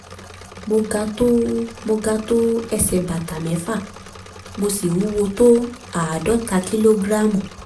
mo ga tó mo ga tó ẹsẹ̀ bàtà mẹ́fà mo sì wúwo tó àádọ́ta kìlógíráàmù